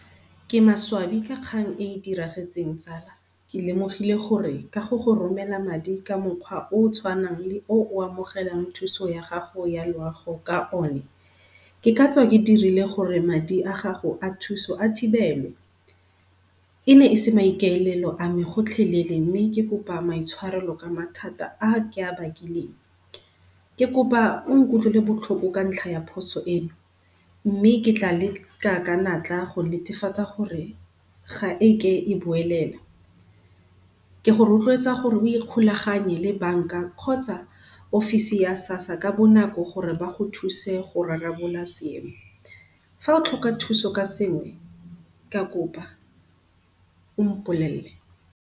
Ke maswabi ka kgang e e diragetseng tsala. Ke lemogile gore ka go go romela madi ka mokgwa o o tshwanang le oo o amogelang thuso ya gago ya loago ka one, ke katswa ke dirile gore madi a gago a thuso a thibelwe. E ne e se maikaelelo a me gotlhelele mme ke kopa maitshwarelo ka mathata a ke a bakileng. Ke kopa o nkutlwele botlhoko ka ntlha ya phoso e, mme ke tla leka ka natla go netefatsa gore ga eke e boelela. Ke go rotloetsa gore o ikgolaganye le bank-a kgotsa offisi ya SASSA ka bonako gore ba go thuse go rarabolola seemo. Fa o tlhoka thuso ka sengwe ke a kopa o mpolelele.